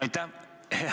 Aitäh!